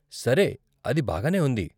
సరే, అది బాగానే ఉంది.